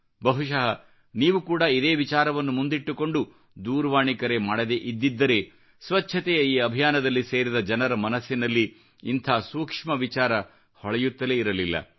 ಬಹುಶಃ ನೀವೂ ಕೂಡ ಇದೇ ವಿಚಾರವನ್ನು ಮುಂದಿಟ್ಟುಕೊಂಡು ದೂರವಾಣಿ ಕರೆ ಮಾಡದೆ ಇದ್ದಿದ್ದರೆ ಸ್ವಚ್ಚತೆಯ ಈ ಅಭಿಯಾನದಲ್ಲಿ ಸೇರಿದ ಜನರ ಮನಸ್ಸಿನಲ್ಲಿ ಇಂತಹ ಸೂಕ್ಷ್ಮ ವಿಚಾರ ಹೊಳೆಯುತ್ತಲೇ ಇರಲಿಲ್ಲ